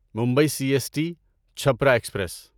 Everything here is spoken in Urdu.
Mumbai C S T Chhapra express